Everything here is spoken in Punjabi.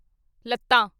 ਲੱਤਾਂ